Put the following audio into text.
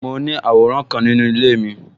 Mo ní àwòrán kan nínú ilé mi